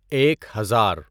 ایک ہزار